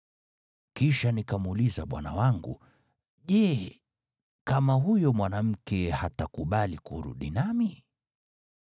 “Kisha nikamuuliza bwana wangu, ‘Je, kama huyo mwanamke hatakubali kurudi nami?’